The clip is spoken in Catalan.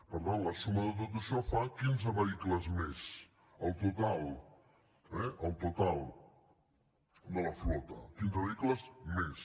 per tant la suma de tot això fa quinze vehicles més el total eh el total de la flota quinze vehicles més